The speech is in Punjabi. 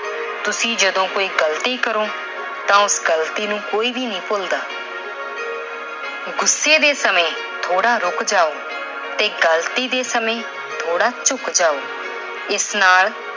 ਤੁਸੀਂ ਜਦੋਂ ਕੋਈ ਗਲਤੀ ਕਰੋ ਤਾਂ ਉਸ ਗਲਤੀ ਨੂੰ ਕੋਈ ਵੀ ਨਹੀਂ ਭੁੱਲਦਾ। ਗੁੱਸੇ ਦੇ ਸਮੇਂ ਥੋੜਾ ਰੁੱਕ ਜਾਓ ਤੇ ਗਲਤੀ ਦੇ ਸਮੇਂ ਥੋੜਾ ਝੁੱਕ ਜਾਓ। ਇਸ ਨਾਲ